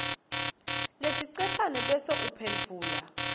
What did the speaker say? lesiceshana bese uphendvula